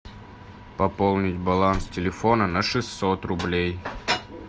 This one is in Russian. пополнить баланс телефона на шестьсот рублей